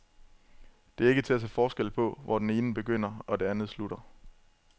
Det er ikke til at se forskel på, hvor det ene begynder, og det andet slutter.